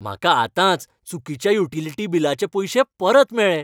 म्हाका आतांच चुकीच्या युटिलिटी बिलाचे पयशे परत मेळ्ळे.